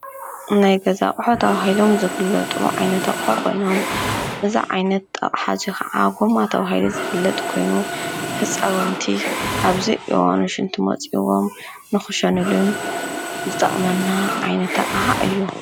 ናይ ገዛ ኣቁሑ ተባሂሎም ዝፍለጡ ዓይነት ኣቁሑ ኮይኖም እዚ ዓይነት ኣቅሓ እዙይ ከዓ ጎማ ተባሂሉ ዝፍለጥ ኮይኑ ህፃውንቲ ኣብዘይ እዋኑ ሽንቲ መፅእዎም ንክሸንሉን ዝጠቅመና ዓይነት ኣቅሓ እዩ።